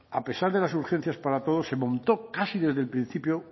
a pesar de las urgencias para todos se montó casi desde el principio